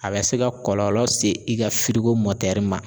A bɛ se ka kɔlɔlɔ se i ga firigo mɔtɛri ma